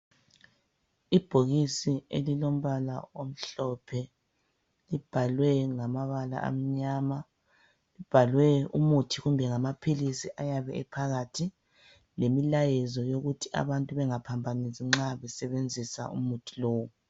Ibhokisi elilombala omhlophe libhalwe ngamabala amnyama. Libhalwe umuthi kumbe ngamaphilisi ayabe ephakathi, lemilayezo yokuthi abantu bengaphambanisi nxa besebenzisa umuthi lowu.